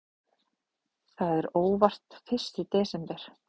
Það er óvart fyrsti desember.